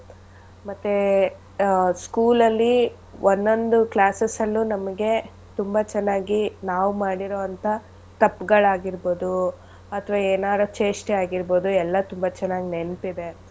ಮತ್ತೇ ಆಹ್ school ಅಲ್ಲಿ ಒಂದೊಂದ್ classes ಅಲ್ಲೂ ನಮ್ಗೆ ತುಂಬಾ ಚೆನ್ನಾಗಿ ನಾವ್ ಮಾಡಿರೋಂಥ ತಪ್ಗಳಾಗಿರ್ಬೋದು ಅಥವಾ ಎನಾರು ಚೇಷ್ಟೆ ಆಗಿರ್ಬೋದು ಎಲ್ಲಾ ತುಂಬಾ ಚೆನ್ನಾಗ್ ನೆನ್ಪಿದೆ.